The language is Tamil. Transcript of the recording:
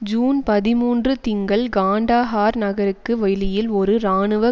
ஜூன் பதிமூன்று திங்கள் காண்டஹார் நகருக்கு வெளியில் ஒரு இராணுவ